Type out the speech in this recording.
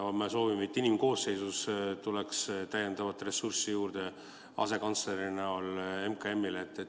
Me soovime, et inimkoosseisus tuleks MKM-ile täiendavat ressurssi juurde asekantsleri näol.